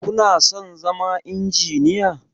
Kuna son zama Injiniya?